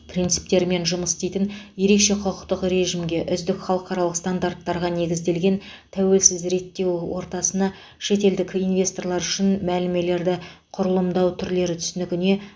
принциптерімен жұмыс істейтін ереше құқықтық режімге үздік халықаралық стандарттарға негізделген тәуелсіз реттеу ортасына шетелдік инвесторлар үшін мәмілелерді құрылымдау түрлері түсінігіне